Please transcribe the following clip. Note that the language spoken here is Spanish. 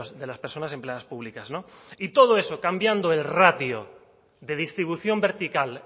de las personas empleadas públicas no y todo eso cambiando el ratio de distribución vertical